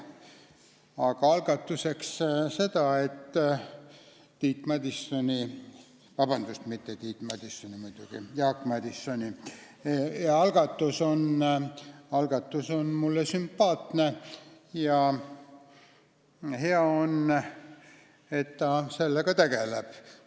Aga algatuseks ütlen seda, et Tiit Madissoni, vabandust, Jaak Madisoni algatus on mulle sümpaatne ja hea on, et ta sellega tegeleb.